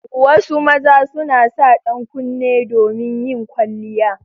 Wasu maza suna sa dankunne domin yin kwalliya.